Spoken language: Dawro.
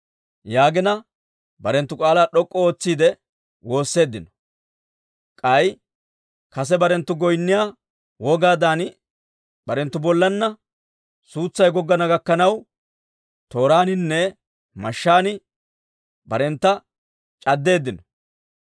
Yaagina barenttu k'aalaa d'ok'k'u ootsiide woosseeddino. K'ay kase barenttu goynniyaa wogaadan barenttu bollanna suutsay goggana gakkanaw tooraaninne mashshaan barentta c'addeeddino.